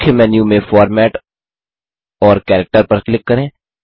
मुख्य मेन्यू में फॉर्मेट और कैरेक्टर पर क्लिक करें